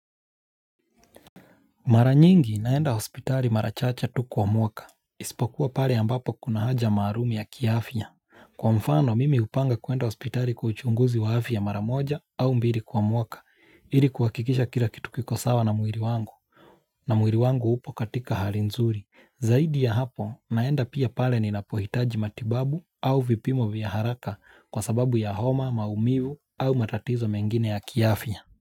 Mara nyingi naenda hospitali mara chache tu kwa mwaka. Isipokuwa pale ambapo kuna haja maalumu ya kiafya. Kwa mfano mimi hupanga kuenda hospitali kwa uchunguzi wa afya mara moja au mbili kwa mwaka. Ili kuhakikisha kila kitu kiko sawa na mwili wangu. Na mwili wangu upo katika hali nzuri. Zaidi ya hapo naenda pia pale ninapohitaji matibabu au vipimo vya haraka kwa sababu ya homa, maumivu au matatizo mengine ya kiafya.